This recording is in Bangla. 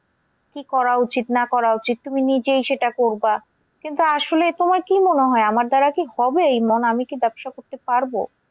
কি করা উচিৎ না করা উচিৎ তুমি নিজেই সেটা করবা। কিন্তু আসলে তোমার কি মনে হয় আমার দ্বারা কি হবে আমি কি ব্যবসা করতে পারবো?